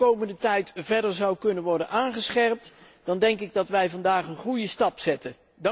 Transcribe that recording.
Als dat de komende tijd verder zou kunnen worden aangescherpt, denk ik dat wij vandaag een goede stap zetten.